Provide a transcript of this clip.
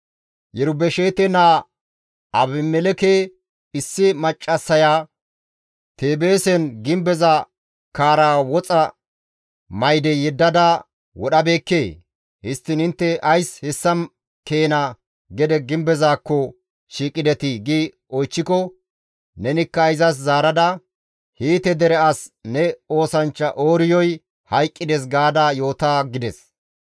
Yerubesheete naa Abimelekke issi maccassaya Teebeesen gimbeza kaarara woxa mayde yeddada wodhabeekkee? Histtiin intte ays hessa keena gede gimbezaakko shiiqidetii?› gi oychchiko nenikka izas zaarada, ‹Hiite dere as ne oosanchcha Ooriyoy hayqqides› gaada yoota» gides.